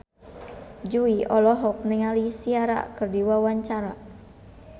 Jui olohok ningali Ciara keur diwawancara